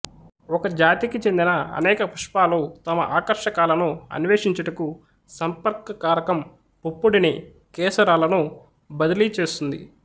ఒక జాతికి చెందిన అనేక పుష్పాలు తమ ఆకర్షకాలను అన్వేషించుటకు సంపర్కకారకం పుప్పొడిని కేసరాలను బద్ర్లీ చేస్తుంది